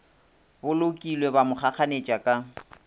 bolokilwe ba mo kgakganetša ka